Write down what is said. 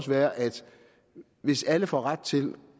være at hvis alle får ret til